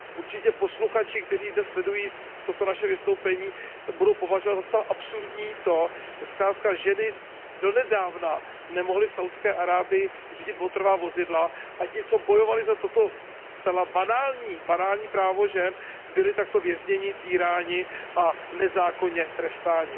Určitě posluchači, kteří dnes sledují toto naše vystoupení, budou považovat za zcela absurdní to, že zkrátka ženy donedávna nemohly v Saudské Arábii řídit motorová vozidla, a ti, co bojovali za toto zcela banální právo žen, byli takto vězněni, týráni a nezákonně trestáni.